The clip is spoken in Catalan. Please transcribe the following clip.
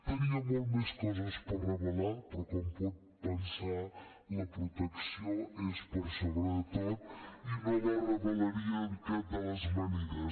tenia moltes més coses per revelar però com pot pensar la protecció és per sobre de tot i no la revelaria de cap de les maneres